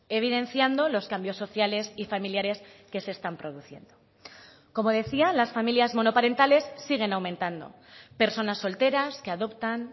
evidenciando los cambios sociales y familiares que se están produciendo como decía las familias monoparentales siguen aumentando personas solteras que adoptan